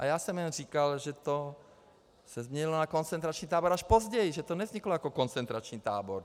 A já jsem jen říkal, že se to změnilo na koncentrační tábor až později, že to nevzniklo jako koncentrační tábor.